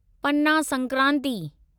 पना संक्रांति